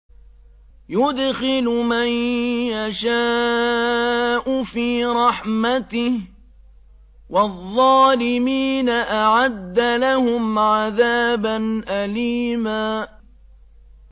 يُدْخِلُ مَن يَشَاءُ فِي رَحْمَتِهِ ۚ وَالظَّالِمِينَ أَعَدَّ لَهُمْ عَذَابًا أَلِيمًا